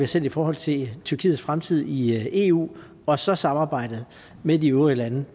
sendt i forhold til tyrkiets fremtid i eu og så samarbejdet med de øvrige lande